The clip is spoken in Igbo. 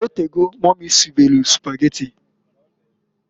O tego mumy sibelu Sụpageti.